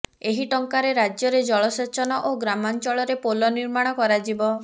ଏହି ଟଙ୍କାରେ ରାଜ୍ୟରେ ଜଳସେଚନ ଓ ଗ୍ରାମାଞ୍ଚଳରେ ପୋଲ ନିର୍ମାଣ କରାଯିବ